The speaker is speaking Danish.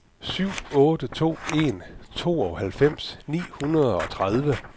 syv otte to en tooghalvfems ni hundrede og tredive